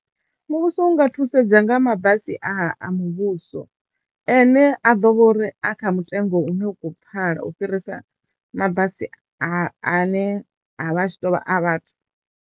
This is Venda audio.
Muvhuso u nga thusedza nga mabasi a a muvhuso ane a ḓo vha uri a kha mutengo une u kho pfala u fhirisa mabasi a ne a vha a tshi tovha a vhathu.